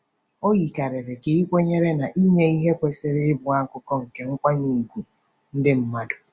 O yikarịrị ka ị kwenyere na inye ihe kwesịrị ịbụ akụkụ nke nkwanye ùgwù ndị mmadụ.